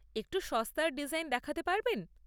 একটু সস্তার ডিজাইন দেখাতে পারবেন?